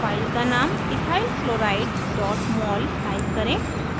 file का name ethyl chloride mol type करें